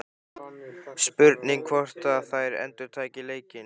Spurning hvort að þær endurtaki leikinn?